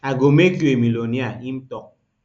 i go make you a millionaire im tok